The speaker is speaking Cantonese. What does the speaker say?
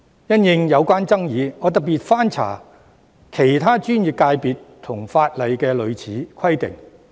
因應有關的爭議，我特別翻查了其他專業界別和法例的類似規定。